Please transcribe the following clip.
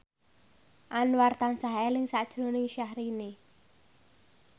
Anwar tansah eling sakjroning Syahrini